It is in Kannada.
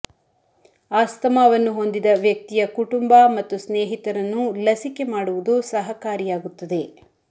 ಆಸ್ತಮಾವನ್ನು ಹೊಂದಿದ ವ್ಯಕ್ತಿಯ ಕುಟುಂಬ ಮತ್ತು ಸ್ನೇಹಿತರನ್ನು ಲಸಿಕೆ ಮಾಡುವುದು ಸಹಕಾರಿಯಾಗುತ್ತದೆ